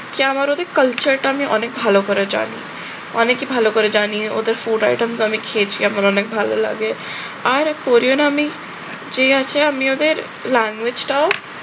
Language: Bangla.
কি আমার ওদের culture টা আমি অনেক ভালো করে জানি। অনেকে ভালো করে জানি, ওদের food item তো আমি খেয়েছি, আমার অনেক ভালো লাগে। আর korean আমি আছে আমি ওদের language টাও